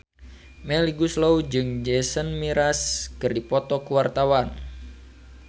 Melly Goeslaw jeung Jason Mraz keur dipoto ku wartawan